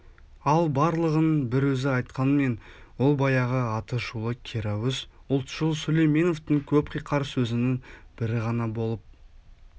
ал барлығын бір өзі айтқанмен ол баяғы аты шулы керауыз ұлтшыл сүлейменовтың көп қиқар сөзінің бірі ғана болып